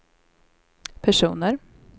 personer